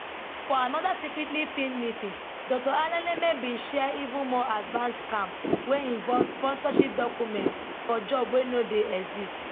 for anoda secretly filmed meeting dr alaneme bin share even more advanced scam wey involve sponsorship documents for jobs wey no dey exist